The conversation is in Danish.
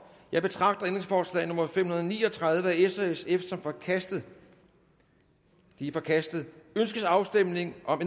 jeg betragter ændringsforslag nummer fem hundrede og ni og tredive af s og sf som forkastet det er forkastet ønskes afstemning om